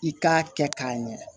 I k'a kɛ k'a ɲɛ